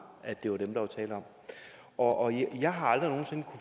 at det er dem der var tale om og jeg har aldrig nogen sinde